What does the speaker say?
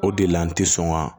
O de la n ti sɔn ka